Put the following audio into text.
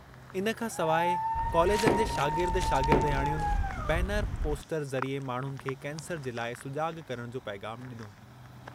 इन खां सवाइ कॉलेजनि जे शागिर्द शागिर्दयाणियुनि बैनर, पोस्टर ज़रिए माण्हुनि खे कैंसर जे लाइ सुजाॻ करण जो पैग़ामु डि॒नो।